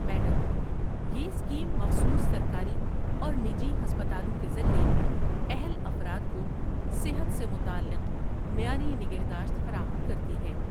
Madam, یہ scheme مخصوص سرکاری اور نجی ہسپتالوں کے ذریعے اہل افراد کو صحت سے متعلق معیاری نگہداشت فراہم کرتی ہے۔